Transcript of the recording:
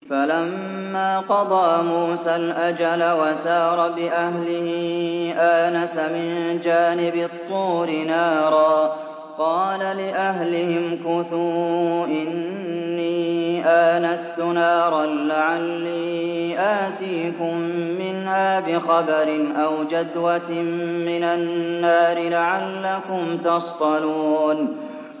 ۞ فَلَمَّا قَضَىٰ مُوسَى الْأَجَلَ وَسَارَ بِأَهْلِهِ آنَسَ مِن جَانِبِ الطُّورِ نَارًا قَالَ لِأَهْلِهِ امْكُثُوا إِنِّي آنَسْتُ نَارًا لَّعَلِّي آتِيكُم مِّنْهَا بِخَبَرٍ أَوْ جَذْوَةٍ مِّنَ النَّارِ لَعَلَّكُمْ تَصْطَلُونَ